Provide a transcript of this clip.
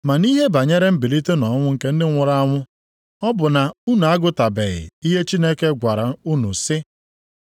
Ma nʼihe banyere mbilite nʼọnwụ nke ndị nwụrụ anwụ, ọ bụ na unu agụtabeghị ihe Chineke gwara unu sị,